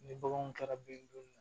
Ni baganw kɛra ben